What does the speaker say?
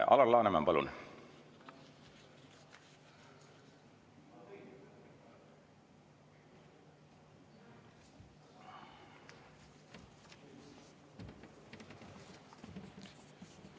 Alar Laneman, palun!